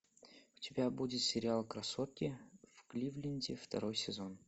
у тебя будет сериал красотки в кливленде второй сезон